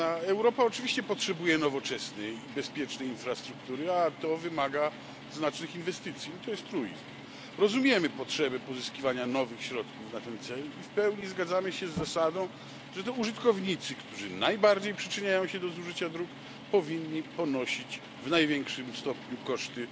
Europa oczywiście potrzebuje nowoczesnej i bezpiecznej infrastruktury, a to wymaga znacznych inwestycji to jest truizm. Rozumiemy potrzebę pozyskiwania nowych środków na ten cel i w pełni zgadzamy się z zasadą, że to użytkownicy, którzy najbardziej przyczyniają się do zużycia dróg, powinni ponosić w największym stopniu koszty